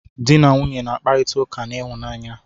Dị na nwunye na-akparita ụka n'ịhụnanya.